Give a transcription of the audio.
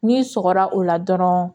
N'i sɔgɔra o la dɔrɔn